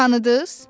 Tanıdız?